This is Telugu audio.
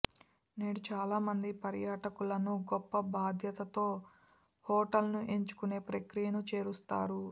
నేడు చాలామంది పర్యాటకులను గొప్ప బాధ్యతతో హోటల్ను ఎంచుకునే ప్రక్రియను చేరుస్తారు